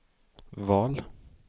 val